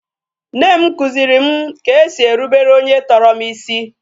Nne m kuziri m ka e si erubere onye tọrọ m isi